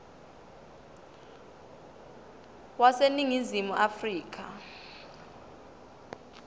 wase ningizimu afrika